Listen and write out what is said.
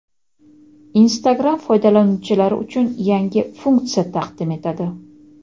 Instagram foydalanuvchilari uchun yangi funksiya taqdim etadi.